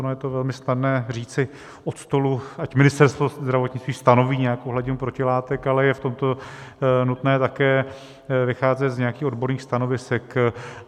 Ono je to velmi snadné říci od stolu, ať Ministerstvo zdravotnictví stanoví nějakou hladinu protilátek, ale je v tomto nutné také vycházet z nějakých odborných stanovisek.